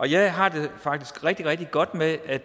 jeg har det faktisk rigtig rigtig godt med at